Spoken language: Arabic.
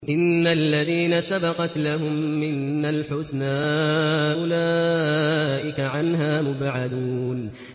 إِنَّ الَّذِينَ سَبَقَتْ لَهُم مِّنَّا الْحُسْنَىٰ أُولَٰئِكَ عَنْهَا مُبْعَدُونَ